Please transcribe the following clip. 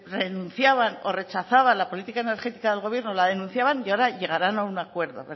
renunciaban o rechazaban la política energética del gobierno la denunciaban y ahora llegarán a un acuerdo